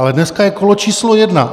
Ale dneska je kolo číslo jedna.